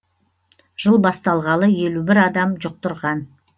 жыл басталғалы елу бір адам жұқтырған